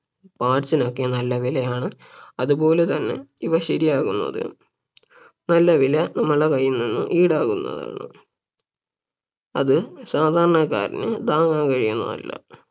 Parts നോക്കെ നല്ല വിലയാണ് അതുപോലെ തന്നെ ഇവ ശരിയാക്കുന്നതിനും നല്ല വില നമ്മുടെ കൈയിൽ നിന്നും ഈടാക്കുന്നതാണ് അത് സാധാരണക്കാരന് താങ്ങാൻ കഴിയുന്നതല്ല